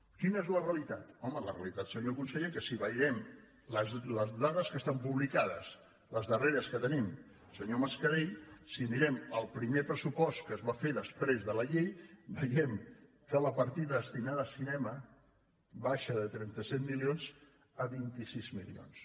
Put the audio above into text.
quina és la realitat home la realitat senyor conseller és que si veiem les dades que estan publicades les darreres que tenim senyor mascarell si mirem el primer pressupost que es va fer després de la llei veiem que la partida destinada a cinema baixa de trenta set milions a vint sis milions